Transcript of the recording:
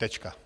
Tečka.